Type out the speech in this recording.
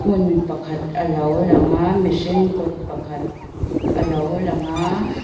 hmun pakhat alo lang a mihring kut pakhat alo lang a.